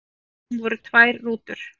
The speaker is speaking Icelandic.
Af þeim voru tvær rútur.